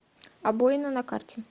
обоина на карте